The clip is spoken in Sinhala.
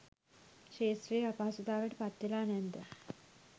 ක්ෂේත්‍රයේ අපහසුතාවට පත්වෙලා නැද්ද?